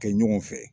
Kɛ ɲɔgɔn fɛ